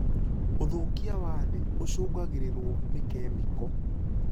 ũthũkia wa thĩ ũcungagĩrĩrwo nĩ kĩmĩko.